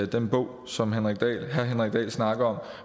den bog som herre henrik dahl snakker